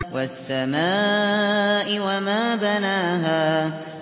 وَالسَّمَاءِ وَمَا بَنَاهَا